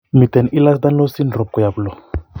Miten Ehlers Danlos syndrome koyop loo